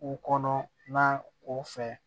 U kɔnɔ na o fɛ